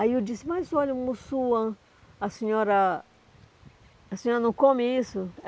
Aí eu disse, mas olha, um Mussuã, a senhora a senhora não come isso?